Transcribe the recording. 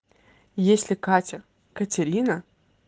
если катя катерина